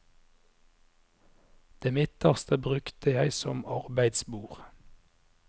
Det midterste brukte jeg som arbeidsbord.